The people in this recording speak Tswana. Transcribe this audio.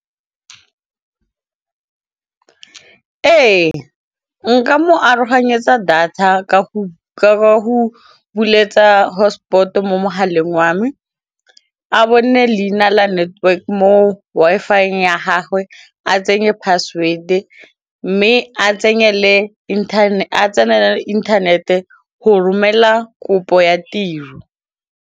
Ee, nka mo aroganyetsa data ka go bueletsa hotspot mo mogaleng wa me, a bone leina la network mo Wi-Fi ya gagwe a tsenye password mme a tsenele inthanete go romela kopo ya tiro.